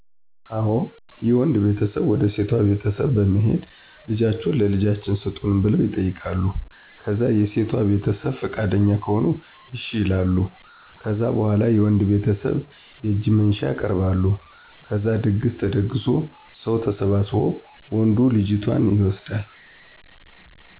አዎ የወንድ ቤተሰብ ወደ ሴቷ ቤተሰብ በመሄድ ልጃቹህን ለልጃችን ሰጡን ብለው ይጠይቃሉ ከዛ የሴቷ ቤተሰብ ፍቃደኛ ከሆኑ እሽ ይላሉ። ከዛ በኋላ የወንድ ቤተሰብ የእጅ መንሻ ያቀርባሉ ከዛድግስ ተደግሶ ሰው ተሰባስቦ ወንዱ ልጅቷን ይወስዳል